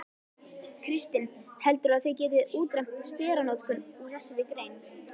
Kristinn: Heldurðu að þið getið útrýmt steranotkun úr þessari grein?